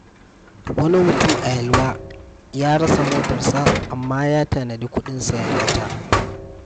Wani mutum a Yelwa ya rasa motarsa, amma ya tanadi kuɗin sayen wata.